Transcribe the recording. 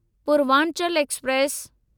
Purvanchal express